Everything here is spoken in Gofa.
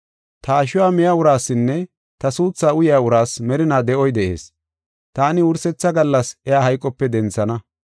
Ta ashuwa miya uraasinne ta suuthaa uyaa uraas merinaa de7oy de7ees. Taani wursetha gallas iya hayqope denthana.